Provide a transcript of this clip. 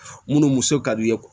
Munnu muso ka d'i ye